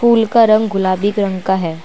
फूल का रंग गुलाबी रंग का है।